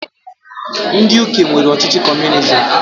Ndị Uke nwere ọchịchị comunizim.